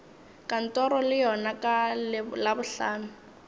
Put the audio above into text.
kantoro le yona ka labohlano